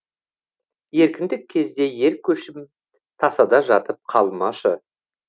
еркіндік кезде ер көшім тасада жатып қалмашы